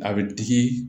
A bɛ digi